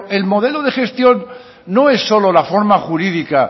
el modelo de gestión no es solo la forma jurídica